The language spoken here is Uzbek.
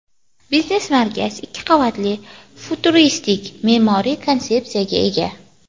Biznes-markaz ikki qavatli futuristik me’moriy konsepsiyaga ega.